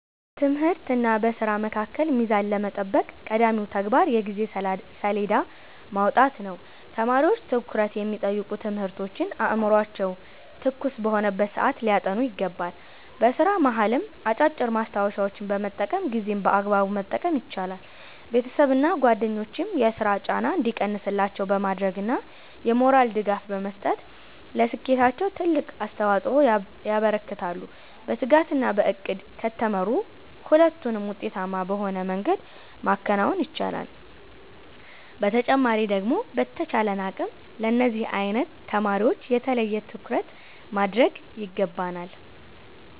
በትምህርትና በሥራ መካከል ሚዛን ለመጠበቅ ቀዳሚው ተግባር የጊዜ ሰሌዳ ማውጣት ነው። ተማሪዎች ትኩረት የሚጠይቁ ትምህርቶችን አእምሯቸው ትኩስ በሆነበት ሰዓት ሊያጠኑ ይገባል። በሥራ መሃልም አጫጭር ማስታወሻዎችን በመጠቀም ጊዜን በአግባቡ መጠቀም ይቻላል። ቤተሰብና ጓደኞችም የሥራ ጫና እንዲቀንስላቸው በማድረግና የሞራል ድጋፍ በመስጠት ለስኬታቸው ትልቅ አስተዋፅኦ ያበረክታሉ። በትጋትና በዕቅድ ከተመሩ ሁለቱንም ውጤታማ በሆነ መንገድ ማከናወን ይቻላል። በተጨማሪ ደግሞ በተቻለን አቅም ለነዚህ አይነት ተማሪወች የተለየ ትኩረት ማድረግ ይገባናል።